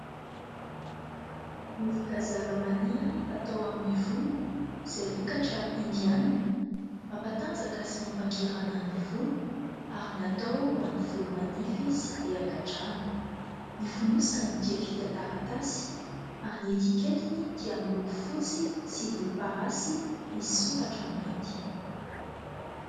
Vovoka zavamaniry fatao amin'ny volo, izay vokatra indiana mampatanjaka sy mampangirana ny volo ary natao ho an'ny volo manify sy be angadrano. Ny fonosany dia vita taratasy ary ny etiketiny dia miloko fotsy sy volomparasy, misy soratra mainty.